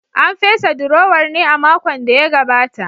An fesa durowar ne a makon da ya gabata?